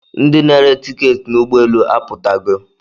Ndi na-ere tiketị n'ụgbọelu aputogo